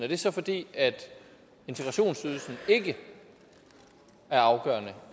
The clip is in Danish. det så er fordi integrationsydelsen ikke er afgørende